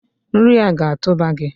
Nri a ga-atụba gi!